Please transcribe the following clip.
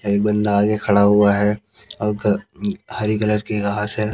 एक बन्दा आगे खड़ा हुआ है औ घ हरी कलर की घास है।